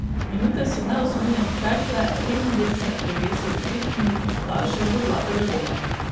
Minute so neusmiljeno tekle, redni del se je prevesil v petminutni podaljšek do zlatega gola.